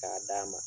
K'a d'a ma